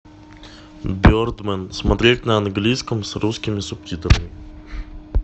бердмэн смотреть на английском с русскими субтитрами